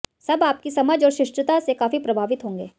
सब आपकी समझ और शिष्टता से काफी प्रभावित होंगे